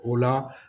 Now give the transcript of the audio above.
O la